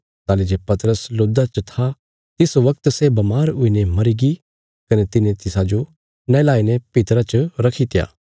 ताहली जे पतरस लुद्दा च था तिस वगत सै बमार हुईने मरीगी कने तिन्हें तिसाजो नहलाई ने भितरा च रखीत्या